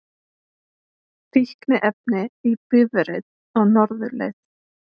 Fíkniefni í bifreið á norðurleið